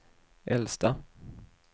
äldsta